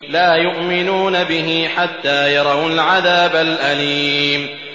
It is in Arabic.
لَا يُؤْمِنُونَ بِهِ حَتَّىٰ يَرَوُا الْعَذَابَ الْأَلِيمَ